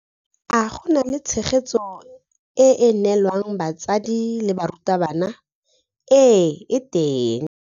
A go na le tshegetso e e neelwang batsadi le barutabana? Ee e teng.